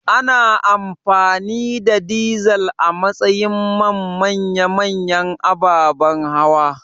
Ana amfani da dizal a matsayin man manya-manyan ababan hawa